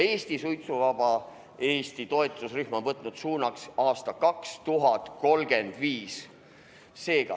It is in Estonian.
Suitsuvaba Eesti toetusrühm on võtnud suunaks aasta 2035.